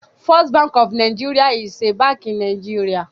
First Bank of NIgeria is a Bank in Nigeria